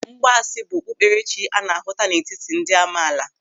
Mgbaasị bụ okpukperechi a na-ahụta n'etiti ndị amaala.